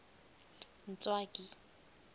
ntswaki